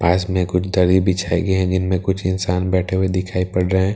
पास में कुछ दरी बिछाई गयी हैं जिनमे कुछ इंसान बैठे हुए दिखाई पड़ रहे हैं --